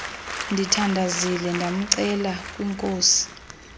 ndithandazile ndamcela kwinkosi